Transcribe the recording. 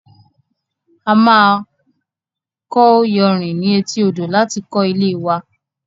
A máa kọ iyanrìn ní etí odò láti kó ilée wa